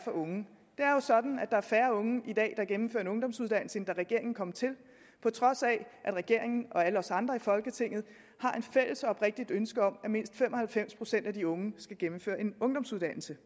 unge det er jo sådan at der er færre unge i dag der gennemfører en ungdomsuddannelse end da regeringen kom til på trods af at regeringen og alle os andre i folketinget har et fælles og oprigtigt ønske om at mindst fem og halvfems procent af de unge skal gennemføre en ungdomsuddannelse